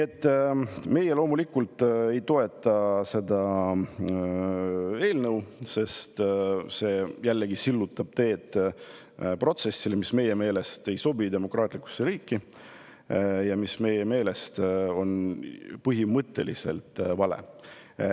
Meie loomulikult ei toeta seda eelnõu, sest see sillutab jällegi teed protsessile, mis meie meelest ei sobi demokraatlikusse riiki ja mis meie meelest on põhimõtteliselt vale.